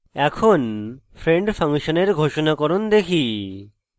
এখন friend ফাংশনের ঘোষনাকরণ দেখি